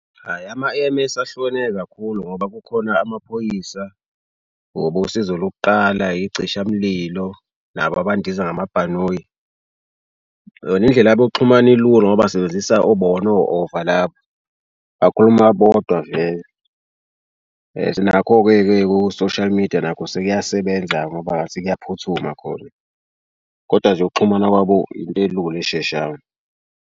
Hhayi ama-E_M_S ahlukene kakhulu ngoba kukhona amaphoyisa, obosizo lokuqala, icishamlilo nabo abandiza ngamabhanoyi yona indlela yabo yokuxhumana ilula ngoba basebenzisa bona o-ova labo bakhuluma bodwa vele. Sinakho-ke-ke ku-social media nakho sekuyasebenza ngoba ngathi kuyaphuthuma khona, kodwa nje ukuxhumana kwabo into elula esheshayo.